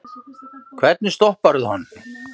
Hvernig stopparðu hann?